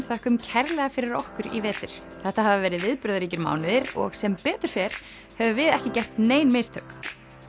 þökkum kærlega fyrir okkur í vetur þetta hafa verið viðburðaríkir mánuðir og sem betur fer höfum við ekki gert nein mistök